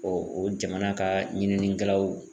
o jamana ka ɲininikɛlaw